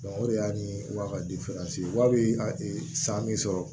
o de y'a ni wa wali a ye san min sɔrɔ